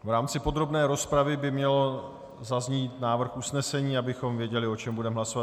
V rámci podrobné rozpravy by měl zaznít návrh usnesení, abychom věděli, o čem budeme hlasovat.